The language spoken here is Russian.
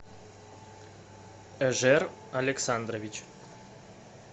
эжер александрович